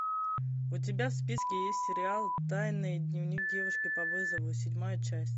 у тебя в списке есть сериал тайный дневник девушки по вызову седьмая часть